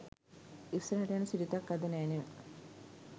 ඉස්සරහට යන සිරිතක් අද නෑ නෙව.